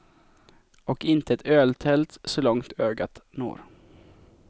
Och inte ett öltält så långt ögat når.